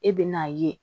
E bɛ n'a ye